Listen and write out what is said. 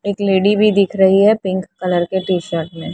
एक लेडी भी दिख रही है पिंक कलर के टीशर्ट में --